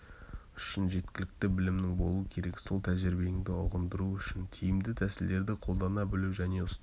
үшін жеткілікті білімің болу керек сол тәжірибеңді ұғындыру үшін тиімді тәсілдерді қолдана білу және ұстаз